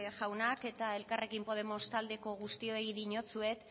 jaunak eta elkarrekin podemos taldeko guztioi dinotsuet